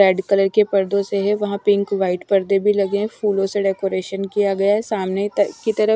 Red colour के पर्दों से है वहाँ पिंक व्हाईट पर्दे भी लगे हैं फूलों से डेकोरेशन किया गया है सामने की तरफ।